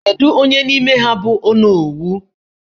Kedu onye n'ime ha bụ onowu?